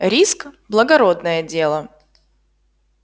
риск благородное дело